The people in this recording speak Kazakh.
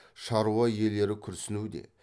шаруа иелері күрсінуде